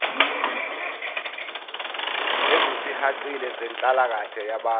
ezisihaqile zenhlalakahle yabantu